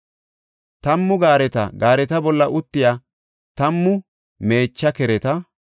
Tammu gaareta, gaareta bolla uttiya tammu meecha kereta,